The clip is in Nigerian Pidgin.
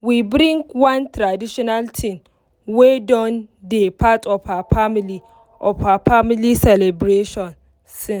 we bring one traditional thing wey don dey part of her family of her family celebration since.